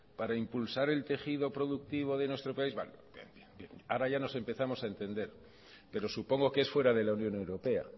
para impulsar el tejido productivo de nuestro país bueno bien ahora ya nos empezamos a entender pero supongo que es fuera de la unión europea